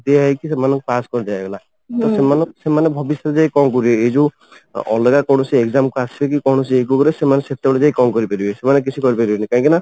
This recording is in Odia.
ଦିଆହେଇକି ସେମାନଙ୍କୁ ପାସ କରିଦିଆହେଇଗଲା ସେମାନେ ସେମାନେ ଭବିଷ୍ୟତରେ ଯାଇକି କଣ କରିବେ ଏଇ ଯୋଉ ଅଲଗା କୌଣସି exam କୁ ଆସିକି କୌଣସି ରେ ସେମାନେ ସେତେବେଳ ଯାଇକି ଯାଇକି କଣ କରିପାରିବେ ସେମାନେ କିଛି କରିପାରିବେନି କାହିଁକି ନା